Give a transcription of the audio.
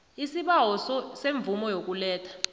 isibawo semvumo yokuletha